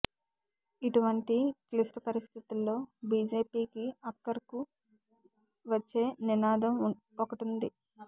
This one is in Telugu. ఇటువంటి క్లిష్ట పరిస్థితుల్లో బీజేపీకి అక్కరకు వచ్చే నినాదం ఒకటుంది